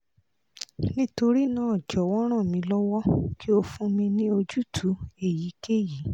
nitorina jọwọ ran mi lọwọ ki o fun mi ni ojutu eyikeyi